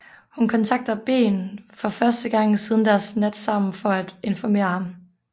Hun kontakter Ben for første gang siden deres nat sammen for at informere ham